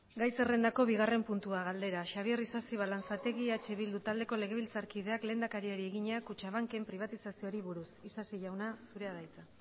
gai zerrendako bigarren puntua galdera xabier isasi balanzategi eh bildu taldeko legebiltzarkideak lehendakariari egina kutxabanken pribatizazioari buruz isasi jauna zurea da hitza